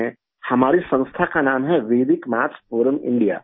ہمارے ادارہ کا نام ہے 'ویدک میتھس فورم انڈیا'